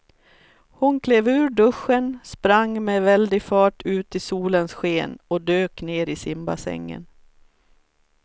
Hon klev ur duschen, sprang med väldig fart ut i solens sken och dök ner i simbassängen.